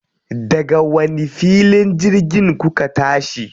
Daga wani filin jirgin kuka tashi?